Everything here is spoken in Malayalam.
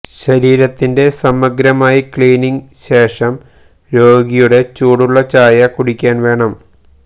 ശരീരത്തിന്റെ സമഗ്രമായി ക്ലീനിംഗ് ശേഷം രോഗിയുടെ ചൂടുള്ള ചായ കുടിക്കാൻ വേണം